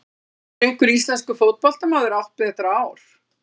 Hefur einhver íslenskur fótboltamaður átt betra ár?